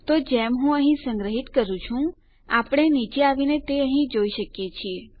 તો જેમ હું અહીં સંગ્રહિત કરું છું આપણે નીચે આવીને તે અહીં જોઈ શકીએ છીએ